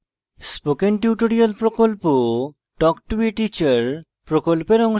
spoken tutorial প্রকল্প talk to a teacher প্রকল্পের অংশবিশেষ